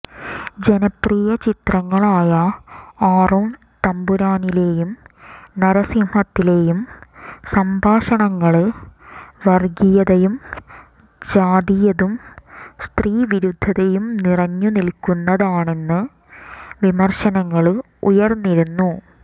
ജനപ്രിയ ചിത്രങ്ങളായ ആറാംത്തമ്പുരാനിലെയും നരസിംഹത്തിലെയും സംഭാഷണങ്ങള് വര്ഗീയതയും ജാതീയതും സ്ത്രീവിരുദ്ധതയും നിറഞ്ഞു നില്ക്കുന്നതാണെന്ന് വിമര്ശനങ്ങള് ഉയര്ന്നിരുന്നു